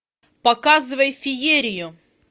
показывай феерию